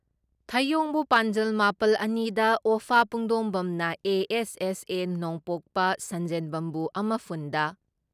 ꯊꯌꯣꯡꯕꯨ ꯄꯥꯟꯖꯜ ꯃꯥꯄꯜꯑꯅꯤꯗ, ꯑꯣꯐꯥ ꯄꯨꯡꯗꯣꯡꯕꯝꯅ ꯑꯦ.ꯑꯦꯁ.ꯑꯦꯁ.ꯑꯦ. ꯅꯣꯡꯄꯣꯛꯄ ꯁꯟꯖꯦꯟꯕꯝꯕꯨ ꯑꯃꯐꯨꯟ ꯗ,